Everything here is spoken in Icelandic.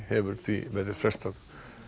hefur því verið frestað